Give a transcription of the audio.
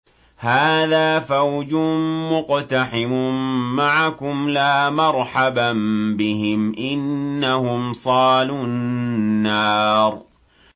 هَٰذَا فَوْجٌ مُّقْتَحِمٌ مَّعَكُمْ ۖ لَا مَرْحَبًا بِهِمْ ۚ إِنَّهُمْ صَالُو النَّارِ